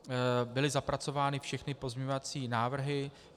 Byly zapracovány všechny pozměňovací návrhy.